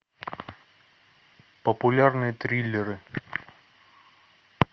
популярные триллеры